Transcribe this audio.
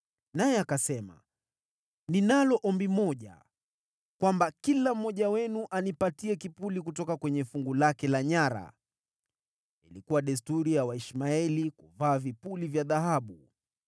Naye akasema, “Ninalo ombi moja, kwamba kila mmoja wenu anipatie kipuli kutoka kwenye fungu lake la nyara.” (Ilikuwa desturi ya Waishmaeli kuvaa vipuli vya dhahabu.)